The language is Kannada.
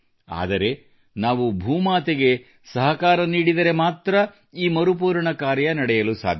ಆದರೆ ನಾವೂ ಭೂ ಮಾತೆಗೆ ಸಹಕಾರ ನೀಡಿದರೆ ಮಾತ್ರ ಈ ಮರುಪೂರಣ ಕಾರ್ಯ ನಡೆಯಲು ಸಾಧ್ಯ